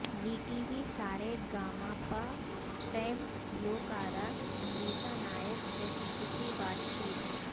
زی T V Sa Re Ga Ma Pa fame گلوکارہ امریتا نائک سے خصوصی بات چیت